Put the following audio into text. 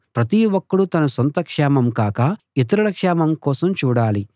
ప్రతి ఒక్కడూ తన సొంత క్షేమం కాక ఇతరుల క్షేమం కోసం చూడాలి